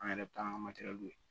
An yɛrɛ bɛ taa an ka matɛrɛliw